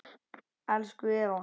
Elsku Eva